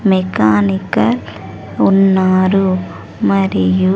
Mechanical ఉన్నారు మరియు.